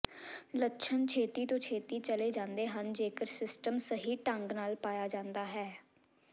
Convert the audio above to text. ਲੱਛਣ ਛੇਤੀ ਤੋਂ ਛੇਤੀ ਚਲੇ ਜਾਂਦੇ ਹਨ ਜੇਕਰ ਸਿਸਟਮ ਸਹੀ ਢੰਗ ਨਾਲ ਪਾਇਆ ਜਾਂਦਾ ਹੈ